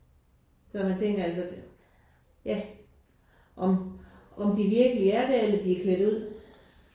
Så jeg tænker altså ja om om de virkelig er der eller om de er klædt ud